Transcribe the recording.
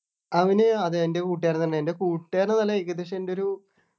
അവനു അതെ എൻ്റെ കൂട്ടുകാരൻ തന്നെ എൻ്റെ കൂട്ടുകാരൻ എന്നല്ല ഏകദേശം എൻ്റെ ഒരു